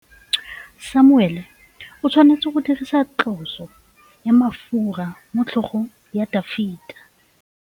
Samuele o tshwanetse go dirisa tlotsô ya mafura motlhôgong ya Dafita.